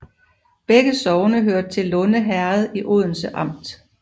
Begge sogne hørte til Lunde Herred i Odense Amt